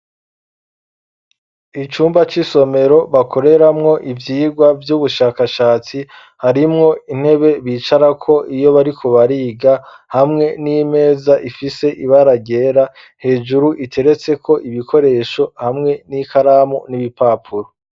Icumba c'isomero bakoreramwo ivyigwa vy'ubushakashatsi, harimwo intebe bicarako iyo bariko bariga, hamwe n'imeza ifise ibara ryera hejuru iteretseko ibikoresho hamwe n'ikaramu n'ibipapuro.